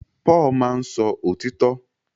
Paul máá ń sọ òtítọ́